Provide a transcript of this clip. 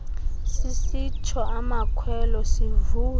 sisitsho amakhwelo sivuya